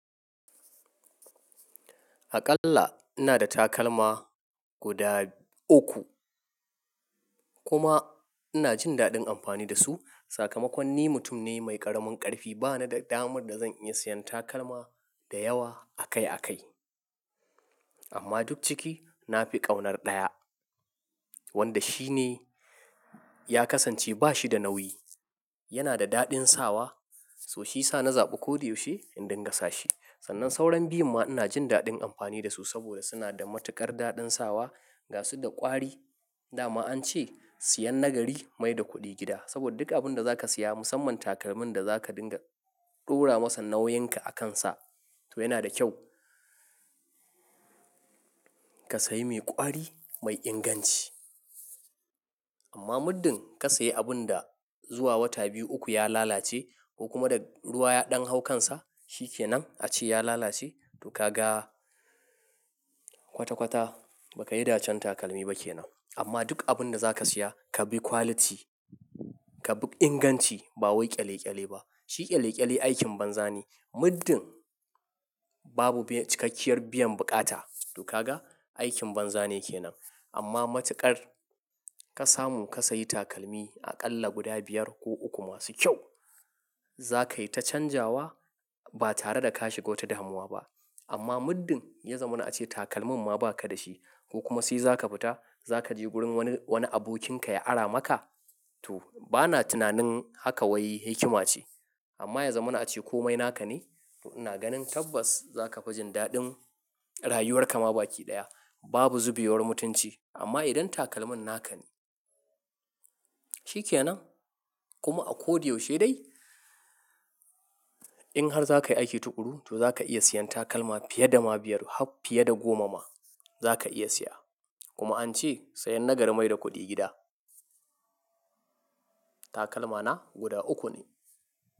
Aƙalla ina da takalma guda uku. Kuma ina jin daɗin amfani da su. Sakamakon ni mutum ne mai ƙaramin ƙarfi. Ba na da damar da zan iya siyan takalma da yawa akai akai. Amma duk ciki na fi ƙaunar ɗaya, wanda shi ne ya kasance ba shi da nauyi, yana da daɗin sawa so shi sa na zaɓi ko da yaushe in dingasa shi. Sannan sauran biyun ma ina jin daɗin amfani da su saboda suna da matuƙar daɗin sawa gasu da ƙwari. Da ma an ce sayan nagari mai da kuɗi gida. Saboda duk abun da za ka siya musamman takalmin da za ka dinga ɗora masa nauyinka a kansa to yana da kyau ka sayi mai ƙwari mai inganci. Amma muddin ka sayi abun da zuwa wata biyu uku ya lalace ko kuma da ruwa ya ɗan haukansa shi ke nan a ce ya lalace to ka ga kwata kwata baka yi dacan takalmi ba ke nan. Amma duk abun da za ka siya ka bi quality, ka bi inganci ba wai ƙyale ƙyale ba. Shi ƙyale ƙyale aikin banza ne. Muddin babu cikakkiyar biyan buƙata to ka ga aikin banza ne ke nan. Amma matuƙar ka samu ka sayi takalmi aƙalla guda biyar ko uku masu kyau. Za ka yi ta canjawa ba tare da ka shiga wata damuwa ba. Amma muddin ya zama na a ce takalmin ma ba ka da shi ko kuma sai za ka fita za ka je wurin wani, wani abokinka ya ara maka to ba na tunanin haka wai hikima ce. Amma ya zama na a ce komai naka ne to ina ganin tabbas za ka fi jin daɗin rayuwarka ma baki ɗaya. Babu zubewar mutunci amma idan takalmin naka shi ke nan kuma a ko da yaushe dai in har za ka yi aiki tuƙuru to za ka iya siyan takalma fiye da ma biyar har fiye da goma ma za ka iya siya. Kuma an ce sayan nagari mai da kuɗi gida. Takalma na guda uku ne.